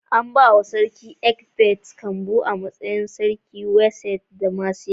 An bawa sarkin Ecbert kambu a matsayin sarkin Wessex da Mercia.